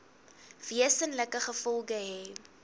wesenlike gevolge hê